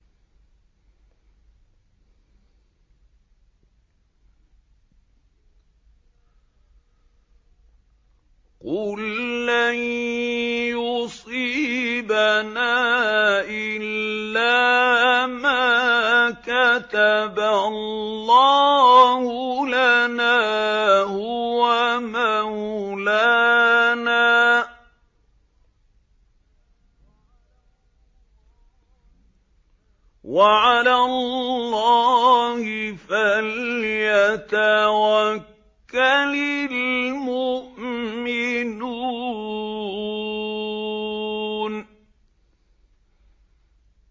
قُل لَّن يُصِيبَنَا إِلَّا مَا كَتَبَ اللَّهُ لَنَا هُوَ مَوْلَانَا ۚ وَعَلَى اللَّهِ فَلْيَتَوَكَّلِ الْمُؤْمِنُونَ